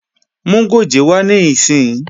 Mú gòjé wá níìsín!